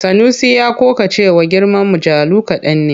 Sanusi ya ƙoƙa da cewa girman mujallu kaɗan ne.